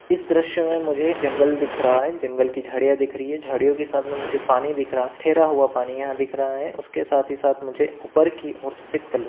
इस दृश्य में मुझे जंगल दिख रहा है जंगल की झाडिया दिख रही है झाड़ियो के सामने मुझे पानी दिख रहा है ठहरा हुआ पानी यहां दिख रहा है उसके साथ ही साथ मुझे ऊपर की और सफेद कलर --